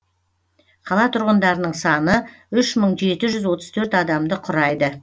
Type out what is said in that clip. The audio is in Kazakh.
қала тұрғындарының саны үш мың жеті жүз отыз төрт адамды құрайды